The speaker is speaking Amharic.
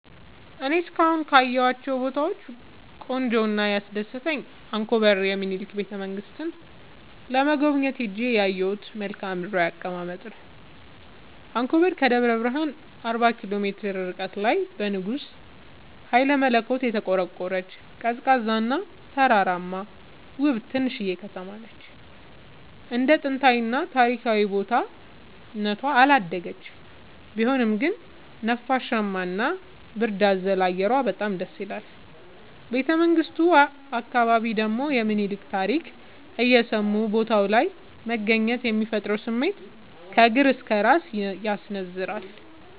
እኔ እስካሁን ካየሁት ቦታወች ቆንጆው እና ያስደሰተኝ አንኮበር የሚኒልክን ቤተ-መንግስት ለመጎብኘት ሄጄ ያየሁት መልከአ ምድራዊ አቀማመጥ ነው። አንኮበር ከደብረ ብረሃን አርባ ኪሎ ሜትር ርቀት ላይ በንጉስ ሀይለመለኮት የተቆረቆረች፤ ቀዝቃዛ እና ተራራማ ውብ ትንሽዬ ከተማነች እንደ ጥንታዊ እና ታሪካዊ ቦታ እነቷ አላደገችም ቢሆንም ግን ነፋሻማ እና ብርድ አዘል አየሯ በጣም ደስይላል። ቤተመንግቱ አካባቢ ደግሞ የሚኒልክን ታሪክ እየሰሙ ቦታው ላይ መገኘት የሚፈጥረው ስሜት ከእግር እስከ እራስ ያስነዝራል።